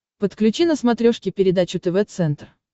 подключи на смотрешке передачу тв центр